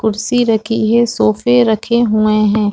कुर्सी रखी है सोफे रखे हुए है।